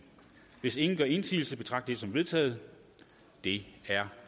hvis ingen gør indsigelse betragter som vedtaget det er